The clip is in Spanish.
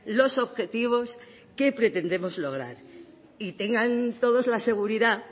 los objetivos que pretendemos lograr y tengan todos la seguridad